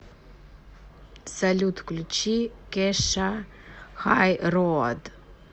салют включи кеша хай роад